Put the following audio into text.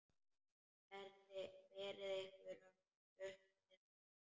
Berið ykkur upp við hann!